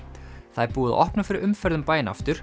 það er búið að opna fyrir umferð um bæinn aftur